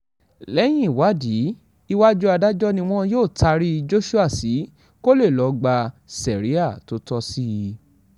lẹ́yìn ìwádìí iwájú adájọ́ ni wọn yóò taari joshua sí kó lè lọ́ọ́ gba sẹ́ríà tó tọ́ sí i